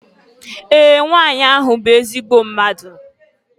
Ee! Nwanyị ahụ bụ ezigbo mmadụ.